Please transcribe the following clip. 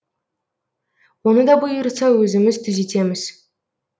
оны да бұйыртса өзіміз түзетеміз